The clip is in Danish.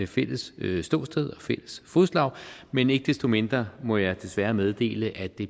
fælles ståsted og fælles fodslag men ikke desto mindre må jeg desværre meddele at det